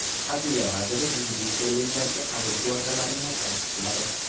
Adliya vaziri yuridik kollejlarga qabul kvotalarini tasdiqladi.